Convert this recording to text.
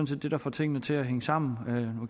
set det der får tingene til at hænge sammen